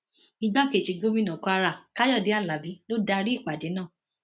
igbákejì gómìnà kwara káyọdé alábí ló darí ìpàdé náà